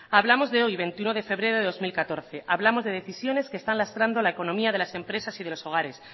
hablamos de hoy veintiuno de febrero de dos mil catorce hablamos de decisiones que están lastrando la economía de las empresas y de los hogares